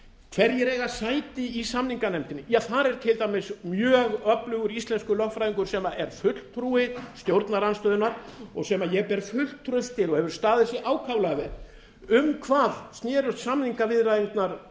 hverjir eiga sæti í samninganefndinni þar er til dæmis mjög öflugur íslenskur lögfræðingur sem er fulltrúi stjórnarandstöðunnar og sem ég ber fullt traust til og hefur staðið sig ákaflega vel um hvað snerust samningaviðræðurnar í